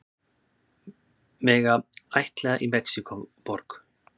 Mega ættleiða í Mexíkóborg